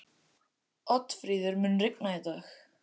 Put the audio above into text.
Oddfríður, mun rigna í dag?